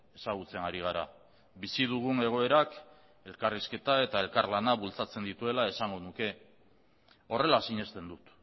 ezagutzen ari gara bizi dugun egoerak elkarrizketa eta elkarlana bultzatzen dituela esango nuke horrela sinesten dut